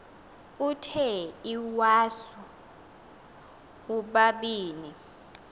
uthe iwasu ubabini